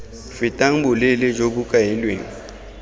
fetang boleele jo bo kailweng